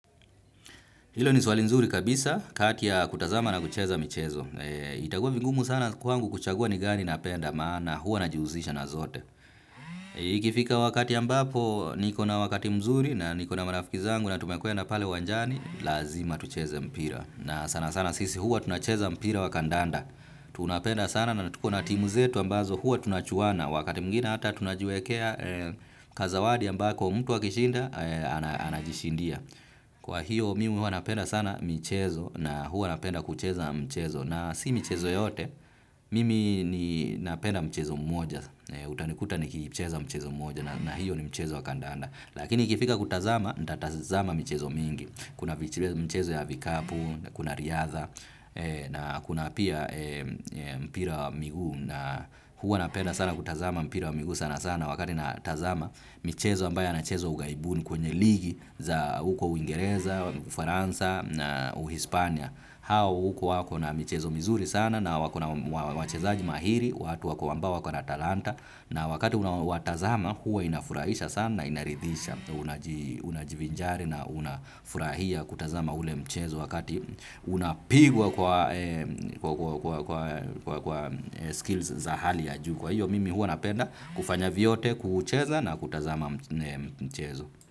Hilo ni swali nzuri kabisa, kati ya kutazama na kucheza michezo. Itakuwa vigumu sana kwangu kuchagua ni gani napenda maana huwa najihusisha na zote. Ikifika wakati ambapo niko na wakati mzuri na niko na marafiki zangu na tumekutana pale uwanjani, lazima tucheza mpira. Na sana sana sisi huwa tunacheza mpira wa kandanda. Tunapenda sana na tuko na timu zetu ambazo huwa tunachuana. Wakati mwingine hata tunajiwekea kazawadi ambako mtu akishinda anajishindia. Kwa hiyo mimi huwa napenda sana michezo na huwa napenda kucheza mchezo na si michezo yote mimi ninapenda mchezo mmoja utanikuta nikicheza mchezo mmoja na hiyo ni mchezo wa kandanda lakini ikifika kutazama nitatazama michezo mingi kuna mchezo ya vikapu, kuna riadha na kuna pia mpira wa miguu na huwa napenda sana kutazama mpira wa miguu sana sana wakati natazama michezo ambayo yanachezwa ughaibuni kwenye ligi za huko uingereza, ufaransa, na uhispania. Hawa huko wako na michezo mizuri sana na wako na wachezaji mahiri, watu wako ambao wako na talanta. Na wakati unaowatazama huwa inafurahisha sana na inaridhisha, unajivinjari na unafurahia kutazama ule mchezo wakati unapigwa kwa kwa skills za hali ya juu. Kwa hiyo mimi huwa napenda kufanya vyote kucheza na kutazama mchezo.